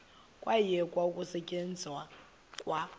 kwayekwa ukusetyenzwa kwa